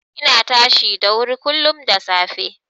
Ina tashi da wuri kullum da safe.